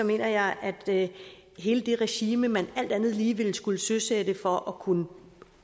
mener jeg at hele det regime man alt andet lige ville skulle søsætte for at kunne